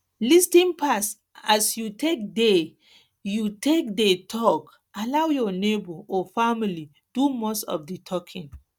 lis ten pass as you take dey you take dey talk allow your neigbour or family do most of di talking